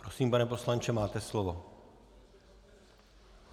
Prosím, pane poslanče, máte slovo.